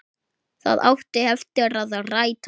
Það átti eftir að rætast.